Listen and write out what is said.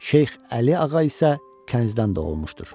Şeyx Əli Ağa isə kənizdən doğulmuşdur.